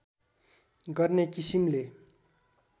गर्ने किसिमले